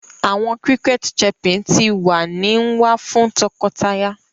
Awọn cricket chirping ti wa ni nwa fun tọkọtaya